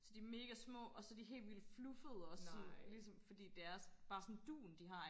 så de mega små og så er de helt vildt fluffede også sådan ligesom fordi det er sådan dun de har